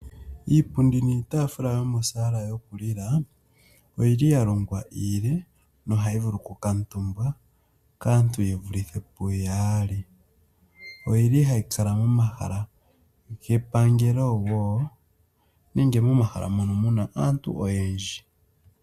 Iipundi niitafula yomosaala yokulila oyi li ya longwa iile nohayi vulu okukutumbwa kaantu ye vulithe puyaali, oyi li hayi kala momahala gepangelo wo nenge momahala mono mu na aantu oyendji.